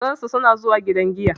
Na gansu suna zuwa daga gidan giya.